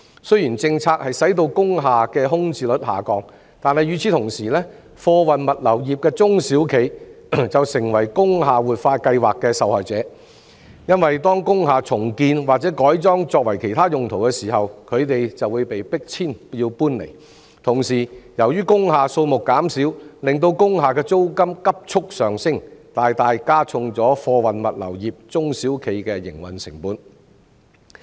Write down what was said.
雖然政策促成工廈的空置率下降，但與此同時，貨運物流業的中小企卻成為工廈活化計劃的受害者，因為當工廈重建或改裝作其他用途時，他們均會被迫搬遷；同時，由於工廈數目減少，令租金急速上升，大大加重了貨運物流業中小企的營運成本。